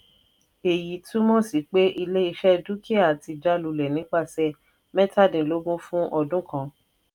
èyí túmọ̀ sí pé ilé-iṣẹ́ dúkìá ti jájulẹ̀ nípasẹ̀ mẹ́tàdínlógún fún ọdún kan.